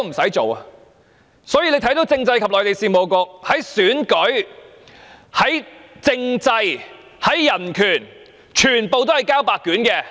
所以，大家看到，政制及內地事務局在選舉、政制、人權上全部交白卷。